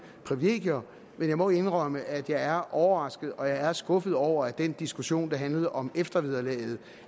privilegier men jeg må indrømme at jeg er overrasket og jeg er skuffet over at den diskussion der handlede om eftervederlaget